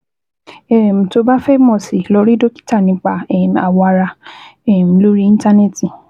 um Tó o bá fẹ́ mọ̀ sí i, lọ rí dókítà nípa um awọ ara um lórí Íńtánẹ́ẹ̀tì